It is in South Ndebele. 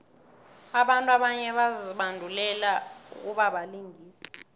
abantu abanye bazibandulele ukubabalingisi